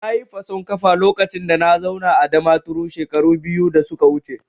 Nayi fason kafa lokacin da na zauna a Damaturu shekaru biyu da suka wuce